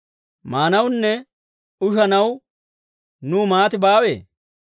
Maanawunne ushanaw nuw maati baawee?